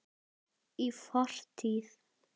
Í fortíð!